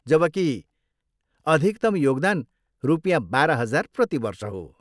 जबकि, अधिकतम योगदान रुपियाँ बाह्र हजार प्रति वर्ष हो।